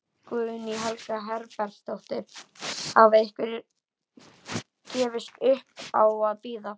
Guðný Helga Herbertsdóttir: Hafa einhverjir gefist upp á að bíða?